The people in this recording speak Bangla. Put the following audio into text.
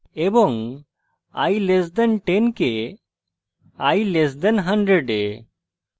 এবং i <10 কে i <100 এ